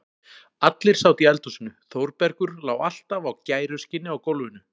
Allir sátu í eldhúsinu, Þórbergur lá alltaf á gæruskinni á gólfinu.